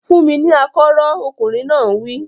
Fún mi ní akọ́rọ́! Ọkùnrin náà wí.